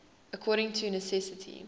according to necessity